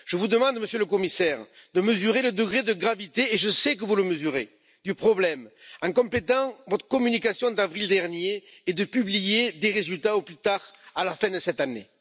Je vous demande, Monsieur le Commissaire, de mesurer le degré de gravité et je sais que vous le mesurez du problème en complétant votre communication d'avril dernier et de publier des résultats au plus tard à la fin de cette année.